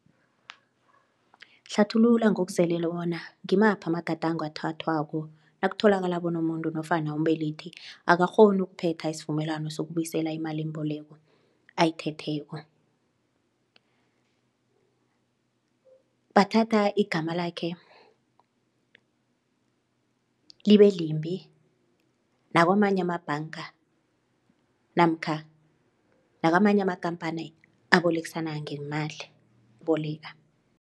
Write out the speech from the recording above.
Hlathulula ngokuzeleko bona ngimaphi amagadango athathwako nakutholakala bona umuntu nofana umbelethi akakghoni ukuphetha isivumelwano sokubuyisela imalimboleko ayithetheko. Bathatha igama lakhe libe limbi nakwamanye amabhanga namkha nakamanye amakampani abolekisana ngeemali boleka.